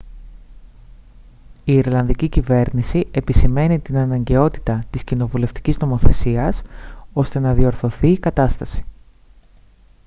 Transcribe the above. η ιρλανδική κυβέρνηση επισημαίνει την αναγκαιότητα της κοινοβουλευτικής νομοθεσίας ώστε να διορθωθεί η κατάσταση